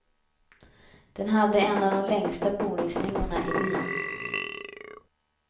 Den hade en av de längsta boningslängorna i byn.